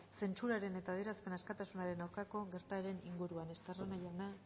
zentsuraren eta adierazpen askatasunaren aurkako gertaeren inguruan esterreona jauna